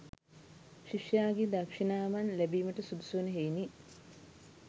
ශිෂ්‍යයාගේ දක්‍ෂිණාවන් ලැබීමට සුදුසු වන හෙයිනි.